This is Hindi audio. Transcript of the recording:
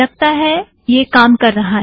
लगता है यह काम कर रहा है